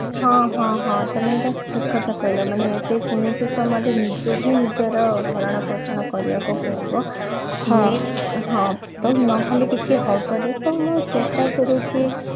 ହଁ ହଁ ହଁ ତମେ ଏଇଟା ଠିକ କଥା କହିଲ ଏବେ ଯେମିତି ତମର ନିଜେ ହିଁ ନିଜର ଭରଣ ପୋଷଣ କରିବାକୁ ପଡିବ ତ ନହଲେ କିଛି ହବନି ତ ମୁଁ ଚେଷ୍ଟା କରୁଛି